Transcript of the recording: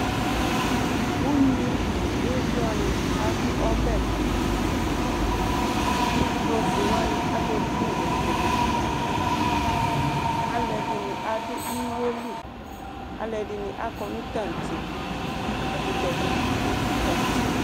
Ugni nʋ ivlɔni adʋ ɔbɛtʋ Ivlɔ fuewani aheblune k'akelikalima dʋ Alʋɛdini adʋ iwo li, alʋɛdini akɔ nʋ tantse, ɛkʋtɛ dini dʋ tantse